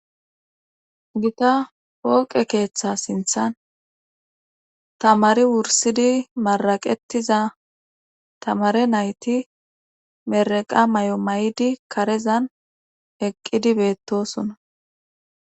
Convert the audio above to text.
Gita pooqe keeththa sinthan tamari wursidi maraqettiza tamare nayti meraqa may7o may7di karezan eqqidi beettosona